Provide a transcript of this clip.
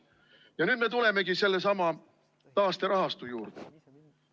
Ja nüüd me tulemegi sellesama taasterahastu juurde.